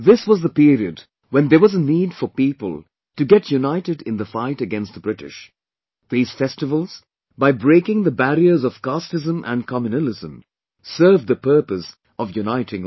This was the period when there was a need for people to get united in the fight against the British; these festivals, by breaking the barriers of casteism and communalism served the purpose of uniting all